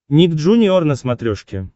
ник джуниор на смотрешке